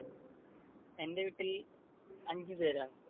എന്റെ വീട്ടിൽ അഞ്ചുപേരാ.